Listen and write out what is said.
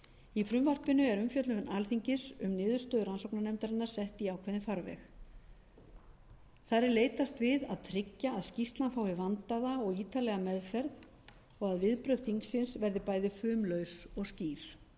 í frumvarpinu er umfjöllun alþingis um niðurstöðu rannsóknarnefndarinnar sett í ákveðinn farveg þar er leitast við að tryggja að skýrslan fái vandlega og ítarlega meðferð og viðbrögð þingsins verði bæði fumlaus og skýr